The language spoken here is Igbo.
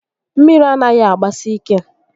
Mmiri anaghị agbasi ike